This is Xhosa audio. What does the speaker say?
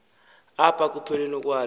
apha ekupheleni kwalo